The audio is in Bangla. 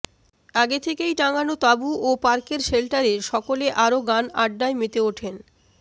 আগে থেকেই টানানো তাবু ও পার্কের শেল্টা্রে সকলে আরো গান আড্ডায় মেতে উঠেন